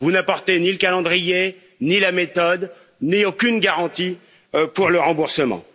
Vous n'apportez ni le calendrier, ni la méthode, ni aucune garantie pour le remboursement.